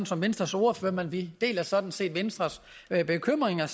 som venstres ordfører men vi deler sådan set venstres bekymringer